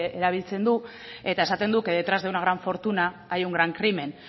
erabiltzen du eta esaten du que detrás de una gran fortuna hay un gran crimen